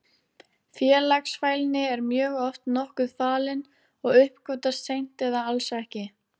Félagsfælni er mjög oft nokkuð falin og uppgötvast seint eða alls ekki.